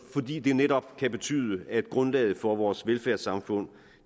fordi det netop kan betyde at grundlaget for vores velfærdssamfund